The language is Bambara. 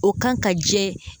O kan ka jɛ.